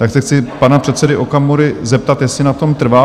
Tak se chci pana předsedy Okamury zeptat, jestli na tom trvá?